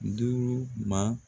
Duuru ma